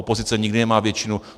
Opozice nikdy nemá většinu.